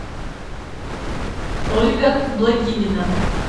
ольга благинина